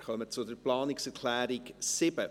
Wir kommen zur Planungserklärung 7.